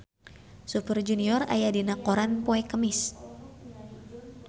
Super Junior aya dina koran poe Kemis